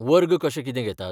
वर्ग कशे कितें घेतात?